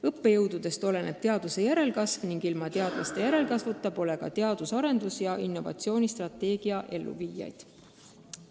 Õppejõududest oleneb teadlaste järelkasv, ilma teadlaste järelkasvuta pole aga teadus- ja arendustegevuse plaanide ning innovatsioonistrateegia elluviijaid.